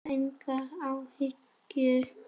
Skapar þetta enga óánægju?